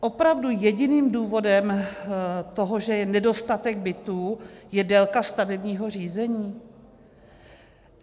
Opravdu jediným důvodem toho, že je nedostatek bytů, je délka stavebního řízení?